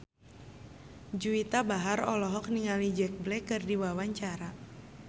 Juwita Bahar olohok ningali Jack Black keur diwawancara